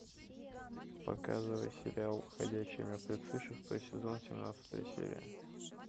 показывай сериал ходячие мертвецы шестой сезон семнадцатая серия